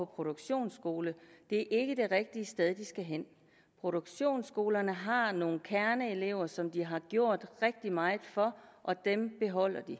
produktionsskole det er ikke det rigtige sted de skal hen produktionsskolerne har nogle kerneelever som de har gjort rigtig meget for og dem beholder de